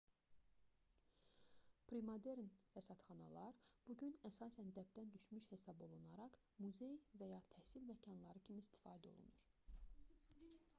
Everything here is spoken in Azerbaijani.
premodern rəsədxanalar bu gün əsasən dəbdən düşmüş hesab olunaraq muzey və ya təhsil məkanları kimi istifadə olunur